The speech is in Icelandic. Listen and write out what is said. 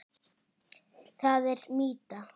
Það er mýta.